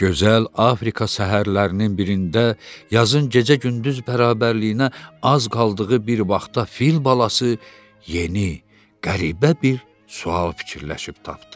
Gözəl Afrika səhərlərinin birində yazın gecə-gündüz bərabərliyinə az qaldığı bir vaxtda fil balası yeni, qəribə bir sual fikirləşib tapdı.